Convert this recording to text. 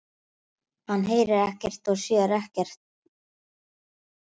Hann heyrir ekkert og sér ekkert.